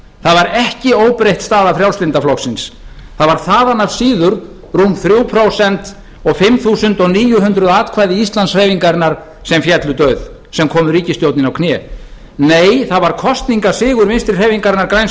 það er ekki óbreytt staða frjálslynda flokksins það var þaðan af síður rúm þrjú prósent og fimm þúsund níu hundruð atkvæði íslandshreyfingarinnar sem féllu dauð sem komu ríkisstjórninni á kné nei það var kosningasigur vinstri hreyfingarinnar græns